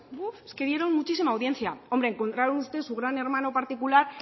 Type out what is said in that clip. buuf es que dieron muchísima audiencia hombre encontraron ustedes su gran hermano particular